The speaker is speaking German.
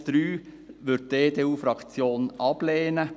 Den Punkt 3 würde die EDU-Fraktion ablehnen.